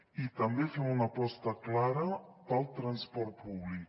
i també fem una aposta clara pel transport públic